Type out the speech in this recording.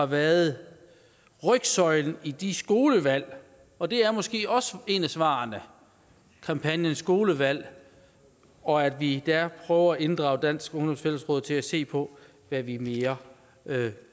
været rygsøjlen i de skolevalg og det er måske også et af svarene kampagner om skolevalg og at vi der prøver at inddrage dansk ungdoms fællesråd til at se på hvad vi mere